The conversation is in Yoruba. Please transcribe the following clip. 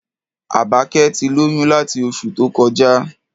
Àbákẹ́ ti lóyún láti oṣù tó kọjá.